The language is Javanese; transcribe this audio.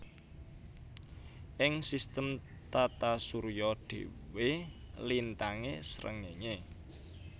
Ing sistem Tata surya dhewe lintangé srengéngé